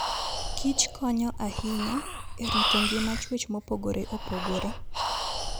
kichkonyo ahinya e rito ngima chwech mopogore opogore.